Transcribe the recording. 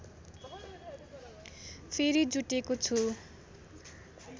फेरी जुटेको छु